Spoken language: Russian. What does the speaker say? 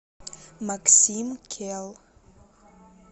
максим келл